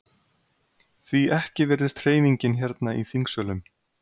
Því ekki virðist hreyfingin hérna í þingsölum?